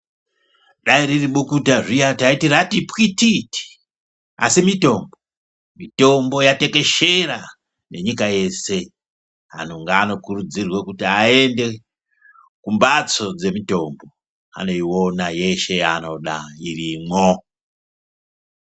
Dai riribukuta zviya taiti ratipwititi asi mitombo, mitombo yatekeshera nenyika yeshe antu anokurudzirwe kuti aende kumbatso dzemutombo anoiona yeshe yaanoda irimwo.